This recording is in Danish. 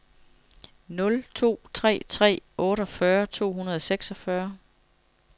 nul to tre tre otteogfyrre to hundrede og seksogfyrre